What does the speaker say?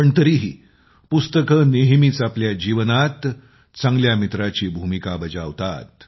पण तरीही पुस्तके नेहमीच आपल्या जीवनात चांगल्या मित्राची भूमिका बजावतात